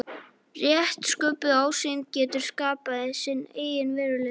Rétt sköpuð ásýnd getur skapað sinn eigin veruleika.